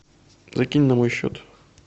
закинь на мой счет